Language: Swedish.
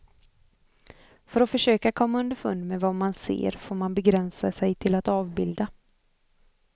För att försöka komma underfund med vad man ser får man begränsa sig till att avbilda.